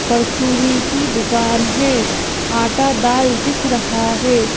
परचूनी की दुकान है आटा दाल दिख रहा है।